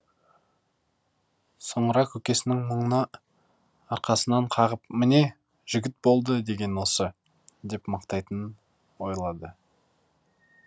соңыра көкесінің мұны арқасынан қағып міне жігіт болды деген осы деп мақтайтынын ойлады